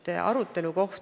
Tänan küsimuse eest!